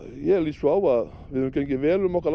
ég lít svo á að við höfum gengið vel um okkar